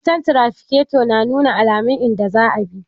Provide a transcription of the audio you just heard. Wutan tarafikato na nuna alaman in da za a bi